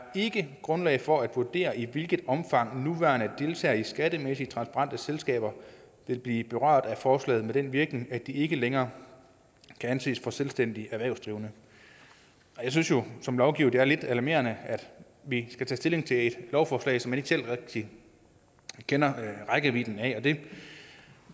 ikke grundlag for at vurdere i hvilket omfang nuværende deltagere i skattemæssigt transparente selskaber vil blive berørt af forslaget med den virkning at de ikke længere kan anses for selvstændigt erhvervsdrivende jeg synes jo som lovgiver at det er lidt alarmerende at vi skal tage stilling til et lovforslag som man ikke selv rigtig kender rækkevidden af og det